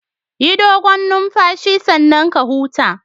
Yi dogon numfashi sannan ka huta